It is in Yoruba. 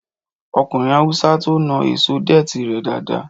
Ọkùnrin Hausa to naa èso dẹ̀tì rẹ dáadáa